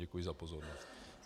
Děkuji za pozornost.